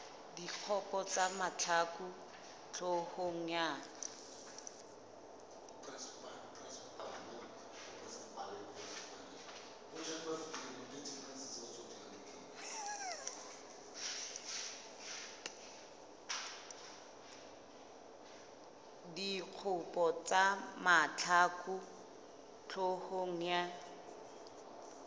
dikgopo tsa mahlaku hloohong ya